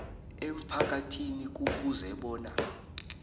emphakathini kufuze bona